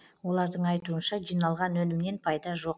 олардың айтуынша жиналған өнімнен пайда жоқ